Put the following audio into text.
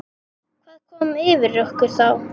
Hvað kom yfir okkur þá?